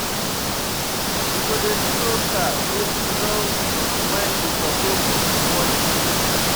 We go do di roaster make you know wen you suppose wash plate.